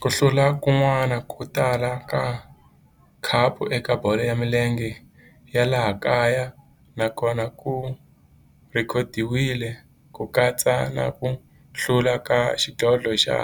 Ku hlula kun'wana ko tala ka khapu eka bolo ya milenge ya laha kaya na kona ku rhekhodiwile, ku katsa na ku hlula ka xidlodlo xa